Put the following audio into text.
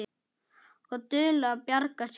Og dugleg að bjarga sér.